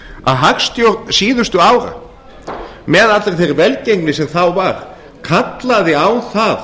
að hagstjórn síðustu ára með allri þeirri velgengni sem þá var kallaði á það